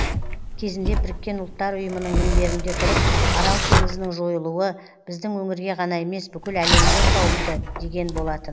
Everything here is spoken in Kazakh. кезінде біріккен ұлттар ұйымының мінберінде тұрып арал теңізінің жойылуы біздің өңірге ғана емес бүкіл әлемге қауіпті деген болатын